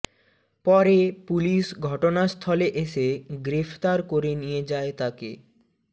পরে পুলিশ ঘটনাস্থলে এসে গ্রেফতার করে নিয়ে যায় তাকে